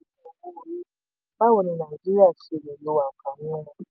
báwo ni nàìjíríà ṣe lè lo àǹfààní wọn?